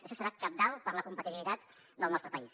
això serà cabdal per a la competitivitat del nostre país